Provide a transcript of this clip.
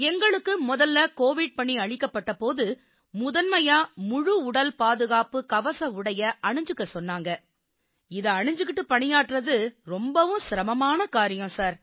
எங்களுக்கு முதல்ல கோவிட் பணி அளிக்கப்பட்ட போது முதன்மையா முழு உடல் பாதுகாப்புக் கவச உடைய அணிஞ்சுக்கச் சொன்னாங்க இதை அணிஞ்சுக்கிட்டு பணியாற்றுவது ரொம்பவும் சிரமமான காரியம் சார்